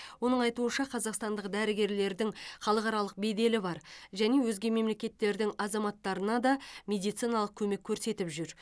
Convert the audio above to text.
оның айтуынша қазақстандық дәрігерлердің халықаралық беделі бар және өзге мемлекеттердің азаматтарына да медициналық көмек көрсетіп жүр